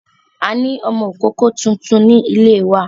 A ní ọmọ ìkókó tuntun ní ilé wa.